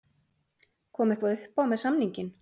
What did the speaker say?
Kom eitthvað uppá með samninginn?